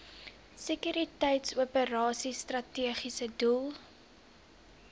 sekuriteitsoperasies strategiese doel